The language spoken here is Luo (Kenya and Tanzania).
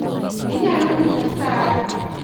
Inyalo nyisa sa adi?